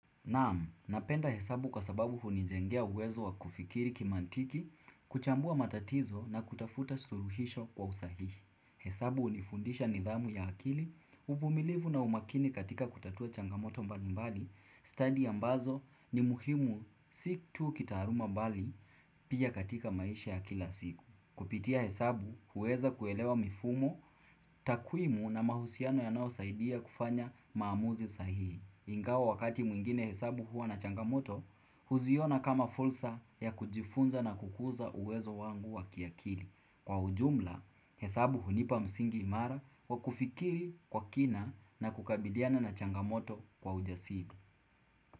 Naam, napenda hesabu kwa sababu hunijengea uwezo wa kufikiri kimantiki, kuchambua matatizo na kutafuta suluhisho kwa usahihi. Hesabu hunifundisha nidhamu ya akili, uvumilivu na umakini katika kutatua changamoto mbali mbali, study ambazo ni muhimu si tu kitaaluma bali pia katika maisha ya kila siku. Kupitia hesabu, huweza kuelewa mifumo, takwimu na mahusiano yanayosaidia kufanya maamuzi sahihi. Ingawa wakati mwingine hesabu huwa na changamoto, huziona kama fulsa ya kujifunza na kukuza uwezo wangu wa kiakili. Kwa ujumla, hesabu hunipa msingi imara wa kufikiri kwa kina na kukabidhiana na changamoto kwa ujasili.